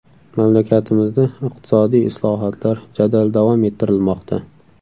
Mamlakatimizda iqtisodiy islohotlar jadal davom ettirilmoqda.